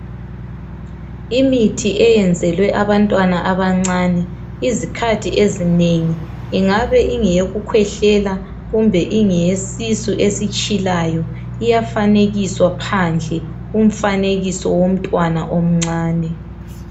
Imithi eyenzelwe abantwana abancane uzikhathi ezingeni ingabe ingeyokukhwehlela kumbe ingeyesisu esitshilayo. Iyafanekiswa phandle umfanekiso womntwana omncane.